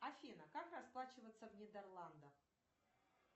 афина как расплачиваться в нидерландах